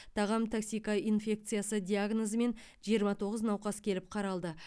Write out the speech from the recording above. тағам токсикоинфекциясы диагнозымен жиырма тоғыз науқас келіп қаралды